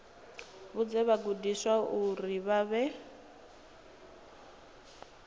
vhudze vhagudiswa uri vha fhe